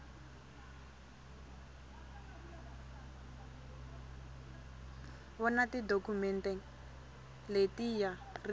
vona tidokhumente leti ya ri